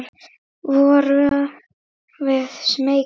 Vorum við smeykar?